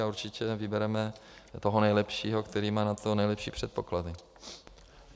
A určitě vybereme toho nejlepšího, který má pro to nejlepší předpoklady.